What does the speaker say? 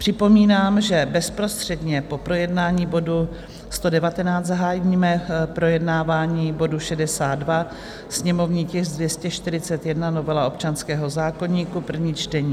Připomínám, že bezprostředně po projednání bodu 119 zahájíme projednávání bodu 62, sněmovní tisk 241, novela občanského zákoníku, první čtení.